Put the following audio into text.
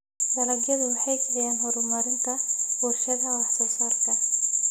Dalagyadu waxay kiciyaan horumarinta warshadaha wax soo saarka.